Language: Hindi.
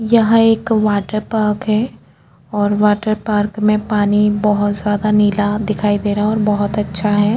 यहाँ एक वाटर पार्क है और वाटर पार्क में पानी बहुत जादा नीला दिखाई दे रहा है और बहुत अच्छा है।